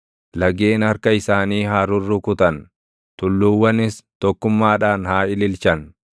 Lageen harka isaanii haa rurrukutan; tulluuwwanis tokkummaadhaan haa ililchan;